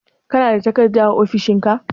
Kana da takarda a ofishin ka?